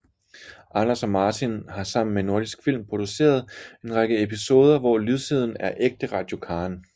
Anders og Martin har sammen med Nordisk Film produceret en række episoder hvor lydsiden er ægte Radio Karen